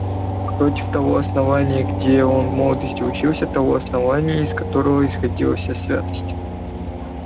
против того основания где он в молодости учился того основания из которого исходила вся святость